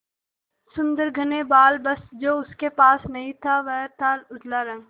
सुंदर घने बाल बस जो उसके पास नहीं था वह था उजला रंग